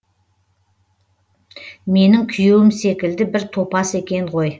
менің күйеуім секілді бір топас екен ғой